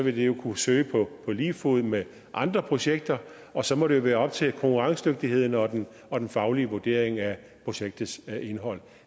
jo kunne søge på lige fod med andre projekter og så må det være op til konkurrencedygtigheden og den og den faglige vurdering af projektets indhold